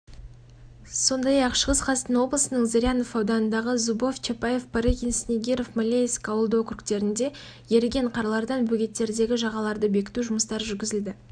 сонымен қатар халыққа түсіндіру жұмыстарын да атқарған болатын күнделікті су деңгейіне мониторинг жасалып жадынамалар таратылды